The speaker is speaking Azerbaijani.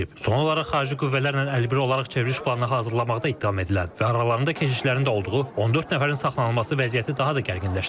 Son olaraq xarici qüvvələrlə əlbir olaraq çevriliş planı hazırlamaqda ittiham edilən və aralarında keşişlərində olduğu 14 nəfərin saxlanılması vəziyyəti daha da gərginləşdirib.